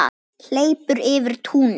Hleypur yfir túnið.